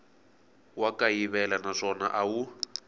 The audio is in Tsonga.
wa kayivela naswona a wu